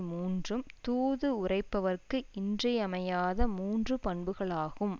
மூன்றும் தூது உரைப்பவர்க்கு இன்றியமையாத மூன்று பண்புகளாகும்